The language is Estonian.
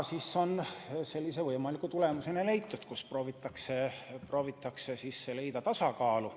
Võimaliku lahendusena on leitud, et proovitakse leida tasakaalu.